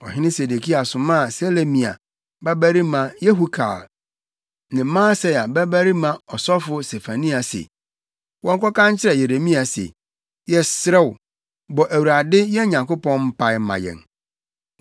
Ɔhene Sedekia somaa Selemia babarima Yehukal ne Maaseia babarima ɔsɔfo Sefania se, wɔnkɔka nkyerɛ Yeremia se, “Yɛsrɛ wo, bɔ Awurade, yɛn Nyankopɔn, mpae ma yɛn.”